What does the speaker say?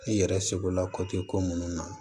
I yɛrɛ seko la ko munnu na